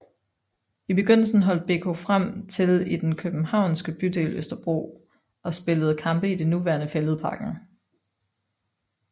I begyndelsen holdt BK Frem til i den københavnske bydel Østerbro og spillede kampe i det nuværende Fælledparken